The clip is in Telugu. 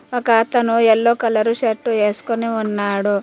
ఒక అతను ఎల్లో కలరు షర్టు ఎస్కొని ఉన్నాడు.